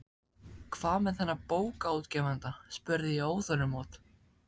Hvað með þennan bókaútgefanda? spurði ég óþolinmóð.